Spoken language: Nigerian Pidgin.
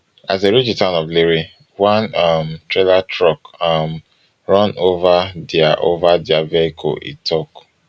as dem reach di town of lere one um trailer truck um run ova dia ova dia vehicle e tok